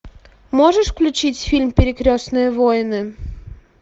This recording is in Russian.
можешь включить фильм перекрестные войны